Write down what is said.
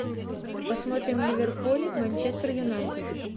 посмотрим ливерпуль манчестер юнайтед